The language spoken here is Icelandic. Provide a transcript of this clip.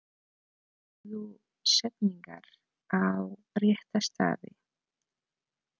Dragðu setningar á rétta staði.